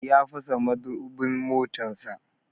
Ya fasa madubin motarsa.